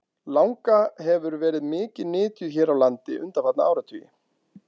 Langa hefur verið mikið nytjuð hér á landi undanfarna áratugi.